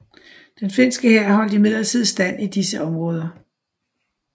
Den finske hær holdt imidlertid stand i disse områder